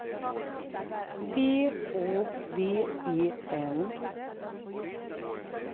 P Å V E N